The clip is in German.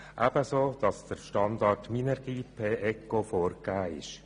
Ebenso ist der Standard Minergie-P-ECO vorgegeben.